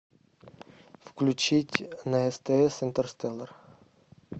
включить на стс интерстеллар